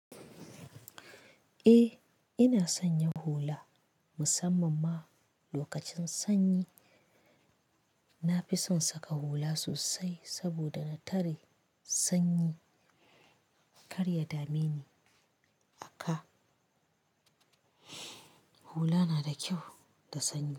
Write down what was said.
Eh ina son yin hula musamman ma lokacin sanyi. Na fi son saka hula sosai saboda na tare sanyi. Kar ya dame ni. A ka, hula na da kyau da sanyi.